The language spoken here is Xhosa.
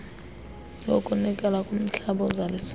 yokunikela kumhlabi ozalisayo